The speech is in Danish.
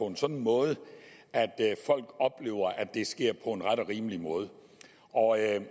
en sådan måde at folk oplever at det sker på en ret og rimelig måde og jeg